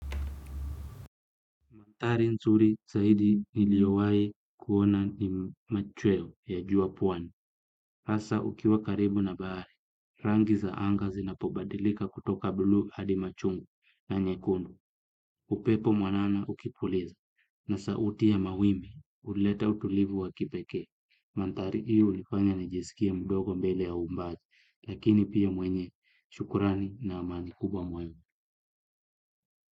Manthari nzuri saidi niliowai kuona ni machweo ya jua pwani. Hasa ukiwa karibu na bahari. Rangi za anga zinapobadilika kutoka buluu hadi machungwa na nyekundu. Upepo mwanana ukipuliza. Na sauti ya mawimbi. Huleta utulivu wa kipekee. Manthari hiyo hunifanya nijisikie mdogo mbele ya umati. Lakini pia mwenye. Shukrani na amani kubwa mwenye.